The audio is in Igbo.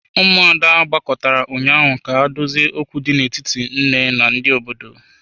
Ụmụada gbakọtara ụnyaahụ ka ha dozie okwu dị n'etiti nne na ndị obodo.